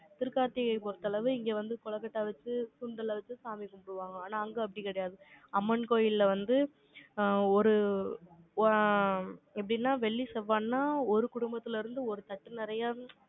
திருக்கார்த்திகையை பொறுத்த அளவு, இங்க வந்து, கொழுக்கட்டை வச்சு, சுண்டல் வச்சு, சாமி கும்பிடுவாங்க. ஆனா, அங்க அப்படி கிடையாது. அம்மன் கோயில்ல வந்து, அ, ஒரு, ஆ, எப்படின்னா, வெள்ளி, செவ்வாய்ன்னா, ஒரு குடும்பத்தில இருந்து, ஒரு தட்டு நிறைய,